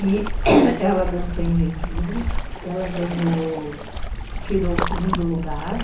E ela dançou em Genville, ela ganhou... tirou o segundo lugar,